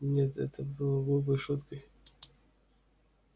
нет это было глупой шуткой